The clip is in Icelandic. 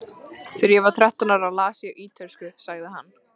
Þegar ég var þrettán ára las ég ítölsku, sagði hann.